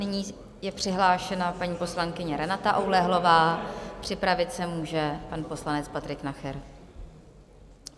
Nyní je přihlášena paní poslankyně Renata Oulehlová, připravit se může pan poslanec Patrik Nacher.